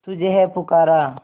तुझे है पुकारा